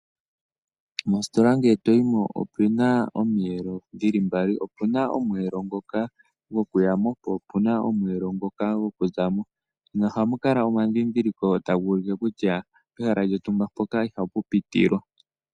Mositola ngele toyimo opena omiyelo dhili mbali , opuna omweelo ngoka gokuyamo popuna omweelo ngoka gokuzamo, noha mukala omadhidhiliko tagulike kutya pehala lyontumba mpoka iha pupitilwa.